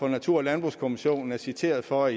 natur og landbrugskommissionen er citeret for at